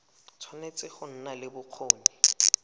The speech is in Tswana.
tshwanetse go nna le bokgoni